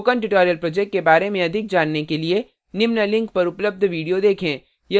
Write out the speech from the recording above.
spoken tutorial project के बारे में अधिक जानने के लिए निम्न लिंक पर उपलब्ध विडियो देखें